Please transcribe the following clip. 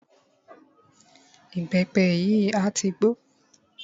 Ìbẹ́pẹ yìí a tí gbó.